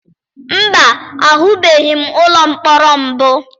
Mba, ahụbeghị m ụlọ mkpọrọ mbụ.